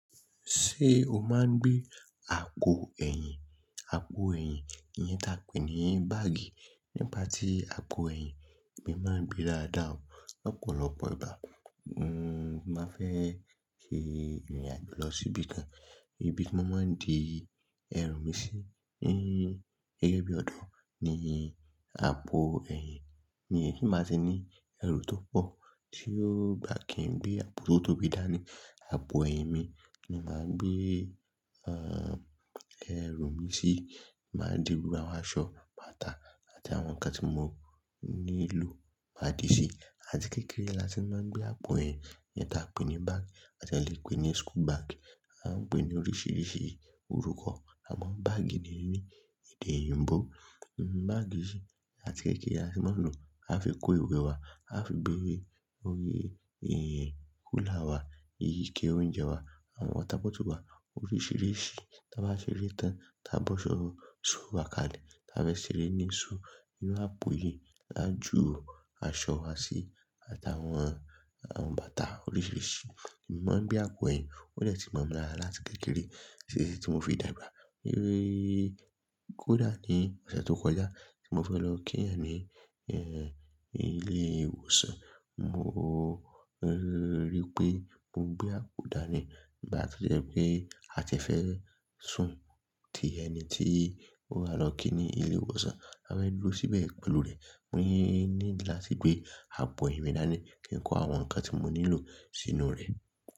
Ṣé o máa ń gbé àpò ẹ̀yìn? Àpò ẹ̀yìn iyẹn ta pe ní báàgì. Nípa tí àpò ẹ̀yìn mo má ń gbe dáda ọ̀. Lopọ̀lọpọ̀ ìgbà mo máa fẹ́ ṣe ìrìn-àjò lọ síbi kan, ibi tí mo máa ń di ẹrù mi sí, ni ẹyin bí ọ̀dọ́ ní àpò ẹ̀yìn. Iyẹn ti n ba ti ní ẹrù tó pọ̀ tí ó gbá kí ń gbé àpò tó tóbi dá ní àpò ẹ̀yìn mi ni mo máa ń gbé, ehn, eru mi sí. Ma dirú àwọn aṣọ, bàtà àti àwọn nǹkan tí mo nílò máa di sí. Àti kékeré lati máa ń gbé àpò ẹ̀yìn iyẹn ta pe ní báàgì àti a le pè ní school bag. A ń pè ní oríṣiríṣi orúkọ àmọ́ báàgì ni ni èdè oyìnbó. Báàgì yìí àti kékeré la ti mo ń lò. A fi kó ìwé wa, a fi gbè hin yẹn kúlà wa, eyí ike oúnjẹ wa, àwọn water bọ́ọ̀tù wa oríṣiríṣi. Ta bá ṣeré tán, ta bọ́so school wá kalẹ̀, tafí ṣere ni school inú àpò yìí, lájú aṣọ wa sì àti àwọn, àwọn bàtà oríṣiríṣi. Èmi máa ń gbé àpò ẹ̀yìn, ó deti momi lara láti kékeré títí tí mo fi dàgbà. Hin kódà ní ọ̀sẹ̀ tó kọjá mo fẹ́ lọ kí ẹ̀yan ní, ẹ́, ilé ìwòsàn. Mo o rí wipé mo gbé àpò dani igba ti o je pé a ti e fẹ́ sùn tì ẹni tí ó wa lọ kí ní ilé ìwòsàn. A fẹ́ dúró síbẹ̀ pẹ̀lú rẹ̀. Mo ní nidí láti gbé àpò ẹ̀yìn mi dání kí n kó àwọn nǹkan tí mo nílò sínú rẹ̀.